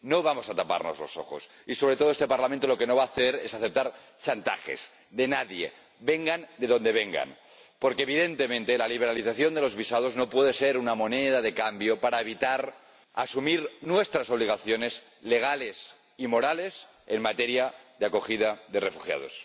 No vamos a taparnos los ojos y, sobre todo, este Parlamento lo que no va a hacer es aceptar chantajes de nadie, vengan de donde vengan, porque, evidentemente, la liberalización de los visados no puede ser una moneda de cambio para evitar asumir nuestras obligaciones legales y morales en materia de acogida de refugiados.